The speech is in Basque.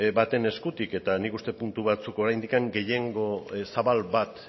baten eskutik eta nik uste dut puntu batzuk oraindik gehiengo